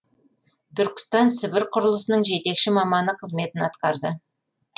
түркістан сібір құрылысының жетекші маманы қызметін атқарды